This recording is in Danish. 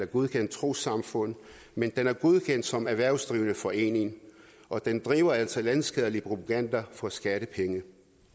godkendt trossamfund men den er godkendt som erhvervsdrivende forening og den driver altså landsskadelig propaganda for skattepenge